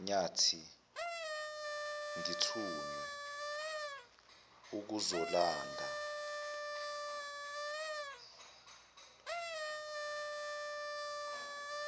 nyathi ngithunywe ukuzolanda